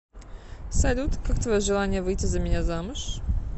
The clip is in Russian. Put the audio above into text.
салют как твое желание выйти за меня замуж